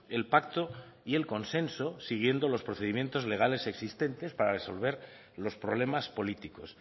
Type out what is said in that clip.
el pacto y el consenso siguiendo los procedimientos legales existentes para resolver los problemas políticos